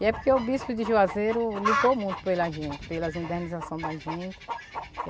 E é porque o Bispo de Juazeiro lutou muito pela gente, pelas indenização da gente.